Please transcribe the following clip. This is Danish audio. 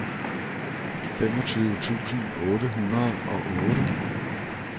femogtyve tusind otte hundrede og otte